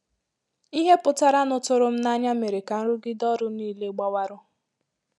Ìhè pụtara nụ tụrụ m nanya mèrè ka nrụgide ọrụ nile gbawarụ